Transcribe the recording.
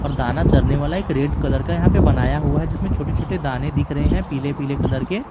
और दाना चरने वाला एक रेड कलर का यहां पे बनाया हुआ है जिसमें छोटे-छोटे दाने दिख रहे हैं पीले-पीले कलर के--